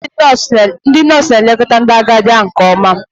Ndị nọọsụ na-elekọta ndị agadi ahụ nke ọma.